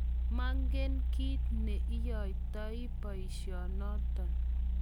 manget kiit ne iyoitoi boisiet noto